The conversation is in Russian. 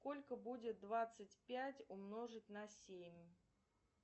сколько будет двадцать пять умножить на семь